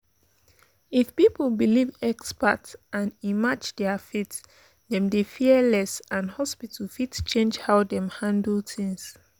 if people believe expert and e match their faith dem dey fear less and hospitals fit change how dem handle things.